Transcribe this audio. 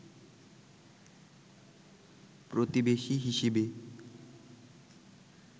প্রতিবেশি হিসেবে